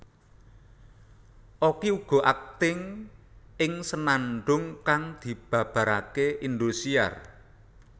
Okky uga akting ing Senandung kang dibabarake Indosiar